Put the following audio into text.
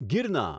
ગિરના